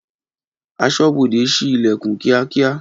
Aṣọ́bodè síí Ìlẹ̀kùn kíákíá